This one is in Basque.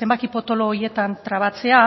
zenbaki potolo horietan trabatzea